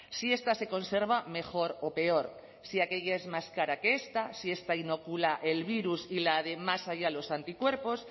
si esta se conserva mejor o peor si aquella es más cara que esta si esta inocula el virus y la de más allá los anticuerpos